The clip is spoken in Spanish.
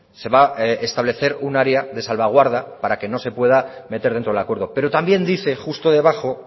se va a establecer un área de salvaguarda para que no se pueda meter dentro del acuerdo pero también dice justo debajo